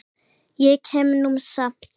Ég kem nú samt!